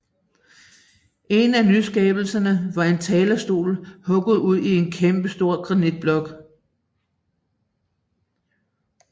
En af nyskabelserne var en talerstol hugget ud i en kæmpe granitblok